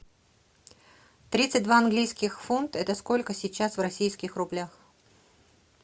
тридцать два английских фунт это сколько сейчас в российских рублях